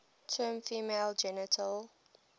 term female genital